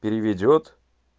переведёт